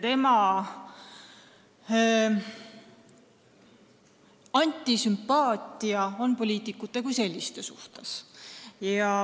Temal on antisümpaatia poliitikute kui selliste vastu.